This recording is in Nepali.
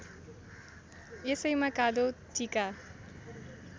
यसैमा कालो टीका